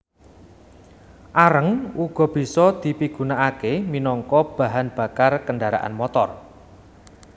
Areng uga bisa dipigunakaké minangka bahan bakar kendharaan motor